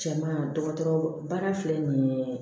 Cɛman dɔgɔtɔrɔ baara filɛ nin ye